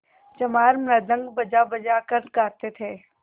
चमार मृदंग बजाबजा कर गाते थे